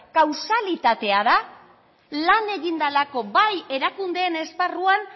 kausalitatea da lan egin delako bai erakundeen esparruan